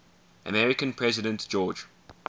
american president george